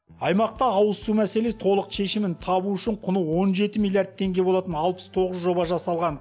аймақта ауызсу мәселе толық шешімін табу үшін құны он жеті миллиард теңге болатын алпыс тоғыз жоба жасалған